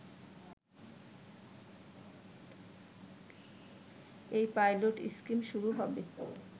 এই pilot scheme শুরু হবে